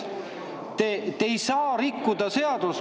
Te ei saa rikkuda seadust.